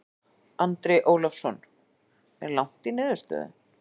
Andri Ólafsson: Er langt í niðurstöðu?